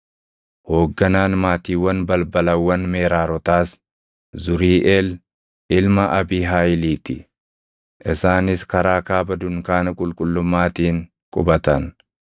Hoogganaan maatiiwwan balbalawwan Meraarotaas Zuriiʼel ilma Abiihaayilii ti; isaanis karaa kaaba dunkaana qulqullummaatiin qubatan.